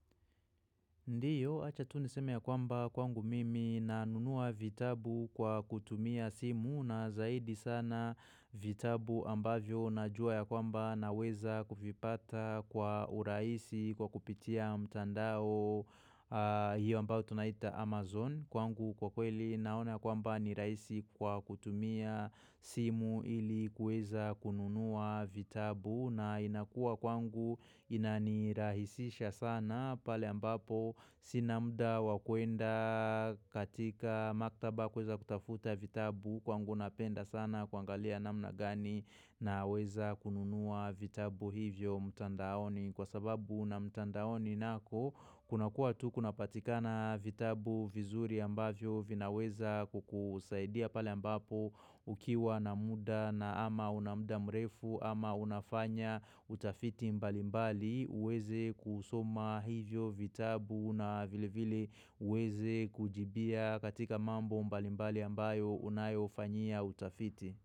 Ndiyo, acha tu niseme ya kwamba kwangu mimi na nunua vitabu kwa kutumia simu na zaidi sana vitabu ambavyo na jua ya kwamba na weza kuvipata kwa urahisi kwa kupitia mtandao hiyo ambao tunaita Amazon. Kwangu kwa kweli naona kwamba ni raisi kwa kutumia simu ili kweza kununua vitabu na inakua kwangu inanirahisisha sana pale ambapo sina muda wakuenda katika maktaba kuweza kutafuta vitabu kwangu napenda sana kuangalia namna gani na weza kununua vitabu hivyo mtandaoni. Kwa sababu na mtandaoni nako kuna kuwa tu kuna patika na vitabu vizuri ambavyo vinaweza kukusaidia pale ambapo ukiwa na muda na ama una muda mrefu ama unafanya utafiti mbali mbali uweze kusoma hivyo vitabu na vile vile uweze kujibia katika mambo mbali mbali ambayo unayo fanyia utafiti.